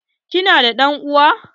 Ki na da ɗan'uwa?